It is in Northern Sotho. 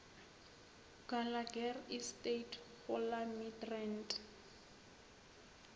gallagher estate go la midrand